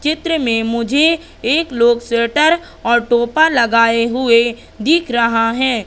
चित्र में मुझे एक लोग स्वेटर और टोपा लगाए हुए दिख रहा है।